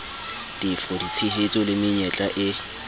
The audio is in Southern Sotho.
tefo ditshehetso le menyetla e